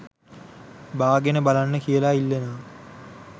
බාගෙන බලන්න කියලා ඉල්ලනවා